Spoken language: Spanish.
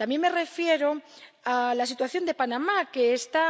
También me refiero a la situación de Panamá, que está